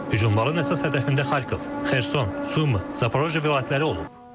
Hücumların əsas hədəfində Xarkov, Xerson, Sumi, Zaporojye vilayətləri olub.